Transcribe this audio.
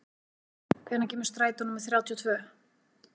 Vilgeir, hvenær kemur strætó númer þrjátíu og tvö?